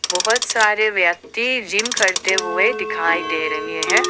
बहोत सारे व्यक्ति जिम करते हुए दिखाई दे रहे हैं।